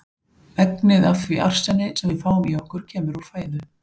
Megnið af því arseni, sem við fáum í okkur kemur úr fæðu.